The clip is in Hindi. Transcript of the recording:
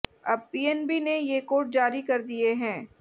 अब पीएनबी ने ये कोड जारी कर दिए हैं